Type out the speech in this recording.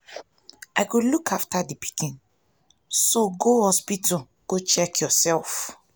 i go look after the pikin so go hospital go check yourself